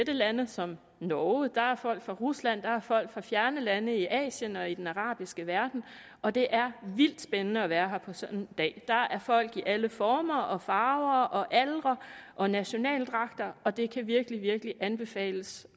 lande som norge der er folk fra rusland der er folk fra fjerne lande i asien og i den arabiske verden og det er vildt spændende at være her på sådan en dag der er folk i alle former og farver og aldre og nationaldragter og det kan virkelig virkelig anbefales